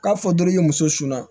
K'a fɔ dɔrɔn i muso su na